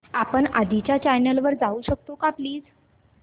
आपण आधीच्या चॅनल वर जाऊ शकतो का प्लीज